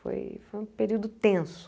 Foi foi um período tenso.